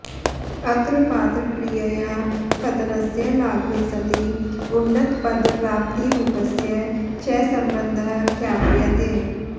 अत्र पातक्रियया पतनस्य लाघवे सति उन्नतपदप्राप्तिरूपस्य च सम्बन्धः ख्याप्यते